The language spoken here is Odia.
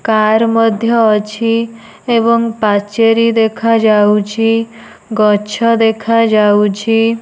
କାର୍ ମଧ୍ୟ ଅଛି ଏବଂ ପାଚେରୀ ଦେଖାଯାଉଛି ଗଛ ଦେଖାଯାଉଛି।